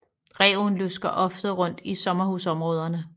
Ræven lusker ofte rundt i sommerhusområderne